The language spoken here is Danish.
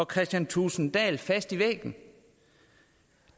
kristian thulesen dahl fast til væggen